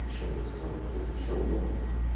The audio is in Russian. ещё месяц он упадёт ещё в два раза